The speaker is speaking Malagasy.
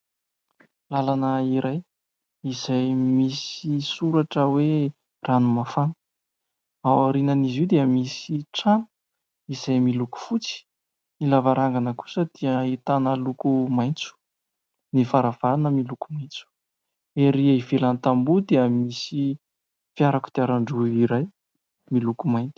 Lalana iray izay misy soratra hoe ranomafana. Ao aorianan'izy io dia misy trano izay miloko fotsy. Ny lavarangana kosa dia ahitana loko maitso. Ny varavarana miloko maitso. Ery ivelany tamboho dia misy fiara kodiaran-droa iray miloko maitso.